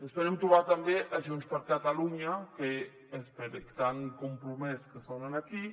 esperem trobar també junts per catalunya tan compromès que sonen aquí